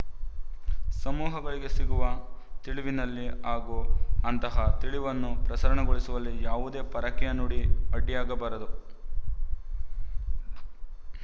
ಸಮೂಹಗಳಿಗೆ ಸಿಗುವ ತಿಳಿವಿನಲ್ಲಿ ಹಾಗೂ ಅಂತಹ ತಿಳಿವನ್ನು ಪ್ರಸರಣಗೊಳಿಸುವಲ್ಲಿ ಯಾವುದೇ ಪರಕೀಯ ನುಡಿ ಅಡ್ಡಿಯಾಗಬಾರದು